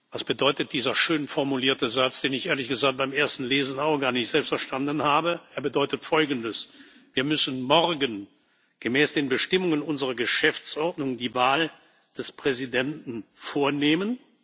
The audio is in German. Was bedeutet dieser schön formulierte Satz, den ich, ehrlich gesagt, beim ersten Lesen selbst auch gar nicht verstanden habe? Er bedeutet Folgendes Wir müssen morgen gemäß den Bestimmungen unserer Geschäftsordnung die Wahl des Präsidenten vornehmen.